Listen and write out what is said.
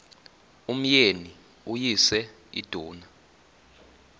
umyeni uyise iduna